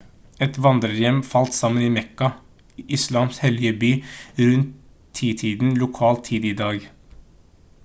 et vandrerhjem falt sammen i mekka islams hellige by rundt titiden lokal tid i dag